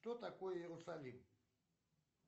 что такое иерусалим